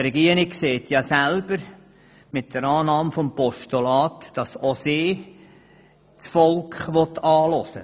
Die Regierung sagt mit ihrer Annahme des Postulats selber, dass sie das Volk anhören will.